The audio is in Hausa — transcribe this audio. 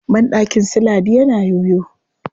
Banɗakin su Ladi yana yoyo.